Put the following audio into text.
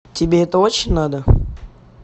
тебе это очень надо